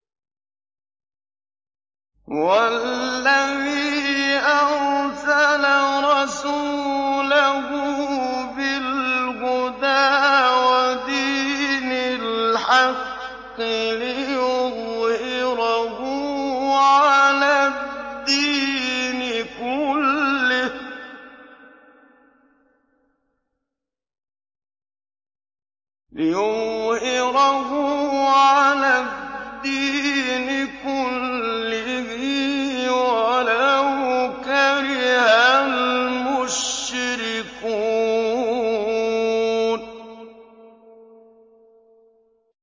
هُوَ الَّذِي أَرْسَلَ رَسُولَهُ بِالْهُدَىٰ وَدِينِ الْحَقِّ لِيُظْهِرَهُ عَلَى الدِّينِ كُلِّهِ وَلَوْ كَرِهَ الْمُشْرِكُونَ